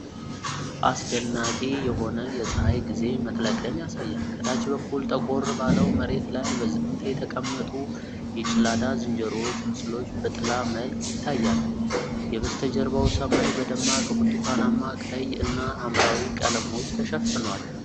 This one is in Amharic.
አስደናቂ የሆነ የፀሐይ ግዜ መጥለቅን ያሳያል። ከታች በኩል ጠቆር ባለው መሬት ላይ በዝምታ የተቀመጡ የገላዳ ዝንጀሮዎች ምስሎች በጥላ መልክ ይታያሉ። የበስተጀርባው ሰማይ በደማቅ ብርቱካናማ፣ ቀይ እና ሐምራዊ ቀለሞች ተሸፍኗል።